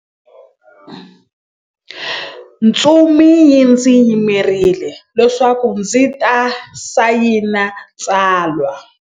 Ntsumi yi ndzi yimerile leswaku ndzi ta sayina tsalwa.